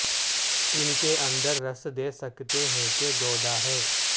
ان کے اندر رس دے سکتے ہیں کہ گودا ہے